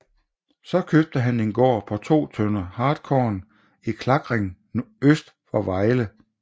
Så købte han en gård på 2 tønder hartkorn i Klakring øst for Vejle